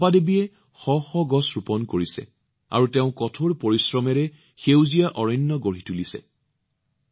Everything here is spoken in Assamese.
চম্পাজীয়েও তেওঁৰ কঠোৰ পৰিশ্ৰমেৰে সেউজীয়া বননি প্ৰস্তুত কৰিছে